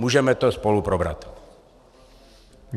Můžeme to spolu probrat.